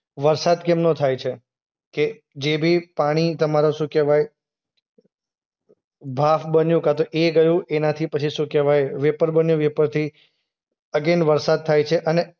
વરસાદ કેમનો થાય છે? કે જે બી પાણી તમારો શું કહેવાય? બાષ્પ બન્યું કાંતો એ ગયું. એનાથી પછી શું કહેવાય? વેપર બન્યું. વેપરથી અગેઈન વરસાદ થાય છે અને